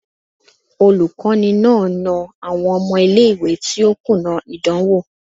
Olukọni na na awọn ọmọ ile-iwe ti o kuna idanwo